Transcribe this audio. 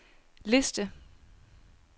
liste